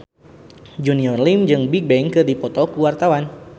Junior Liem jeung Bigbang keur dipoto ku wartawan